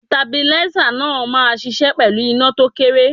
Stabilízà náà máa ṣiṣẹ́ pẹ̀lú iná tó kéré.